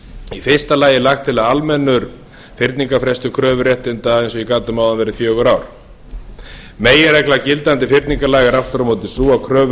í fyrsta lagi er lagt til að almennur fyrningarfrestur kröfuréttinda eins og ég gat um áðan verði fjögur ár meginregla gildandi fyrningarlaga er aftur á móti sú að kröfur